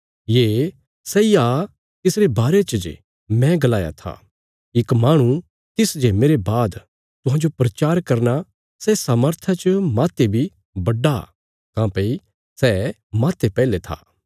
ये सैई आ तिसरे बारे च मैं गलाया था इक माहणु तिस जे मेरे बाद तुहांजो प्रचार करना सै सामर्था च माह्ते बी बड्डा काँह्भई सै माह्ते पैहले था